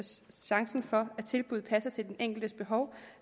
chancen for at tilbuddet passer til den enkeltes behov